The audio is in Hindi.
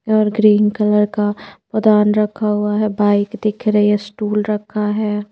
और ग्रीन कलर का पौदान रखा हुआ है बाइक दिख रही है स्टूल रखा है।